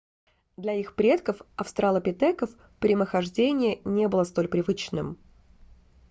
для их предков австралопитеков прямохождение не было столь привычным